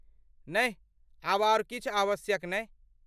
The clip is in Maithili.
नहि, आब आर किछु आवश्यक नै।